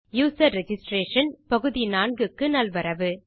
user registration பகுதி 4 க்கு நல்வரவு